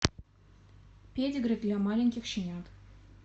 педигри для маленьких щенят